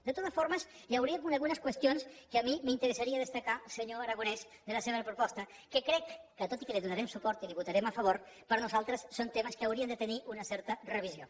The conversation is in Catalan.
de totes formes hi hauria algunes qüestions que a mi m’interessaria destacar senyor aragonès de la seva proposta que crec que tot i que hi donarem suport i la hi votarem a favor per nosaltres són temes que haurien de tenir una certa revisió